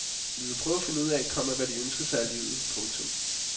Vi vil prøve at finde ud af, komma hvad de ønsker sig af livet. punktum